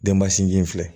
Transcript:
Denba sinji in filɛ